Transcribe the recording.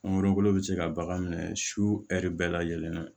Mangoro bolo bɛ se ka bagan minɛ su bɛɛ lajɛlen na